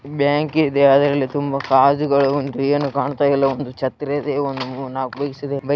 Bank ಇದೆ ಅದ್ರಲ್ಲಿ ತುಂಬಾ ಗಾಜುಗಳು ಉಂಟು ಏನೂ ಕಾಣ್ತಿಲ್ಲಒಂದು ಛತ್ರಿ ಇದೆ ಒಂದ್ ಮೂರ್ ನಾಕ್ ಬೈಕ್ ಇದೆ.